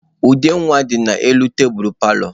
Ude nwa dị n'elu tebulu paalọ.